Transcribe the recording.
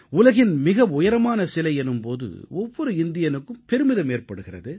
உலகின் மிக உயரமான சிலை எனும் போது ஒவ்வொரு இந்தியனுக்கும் பெருமிதம் ஏற்படுகிறது